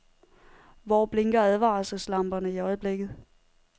Hvor blinker advarselslamperne i øjeblikket.